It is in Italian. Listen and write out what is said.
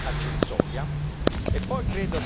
entità, se venduti in via accessoria.